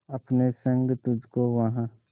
अपने संग तुझको वहां